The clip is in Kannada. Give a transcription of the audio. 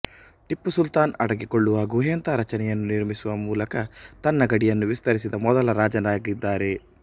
ಟಿಪ್ಪು ಸುಲ್ತಾನ್ ಅಡಗಿಕೊಳ್ಳುವ ಗುಹೆಯಂಥ ರಚನೆಯನ್ನು ನಿರ್ಮಿಸುವ ಮೂಲಕ ತನ್ನ ಗಡಿಯನ್ನು ವಿಸ್ತರಿಸಿದ ಮೊದಲ ರಾಜನಾಗಿದ್ದಾರೆ